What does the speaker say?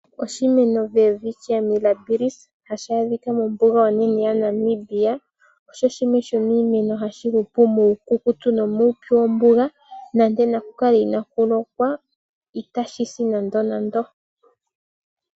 Oshimeno Welwitchia Mirabilis, hashi adhika mombuga onene yaNamibia, osho oshimeno hashi hupu muukukutu nomuupyu wombuga. Nando naku kale inaaku lokwa, itashi si nandenande.